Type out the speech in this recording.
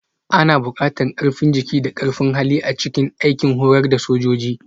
Ana buƙatar ƙarfin jiki da ƙarfin hali a cikin aikin horar da sojoji